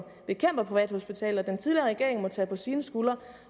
bekæmper privathospitaler den tidligere regering må tage på sine skuldre